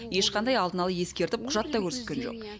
ешқандай алдын ала ескертіп құжат та көрсеткен жоқ